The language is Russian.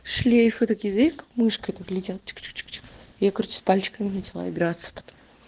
шлейф этот язык мышкой так летят чук чук чук чук я короче с пальчиками начала играться пото